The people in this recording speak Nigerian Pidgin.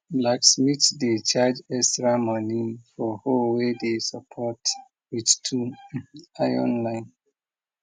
blacksmith dey charge extra money for hoe way dey support with two iron line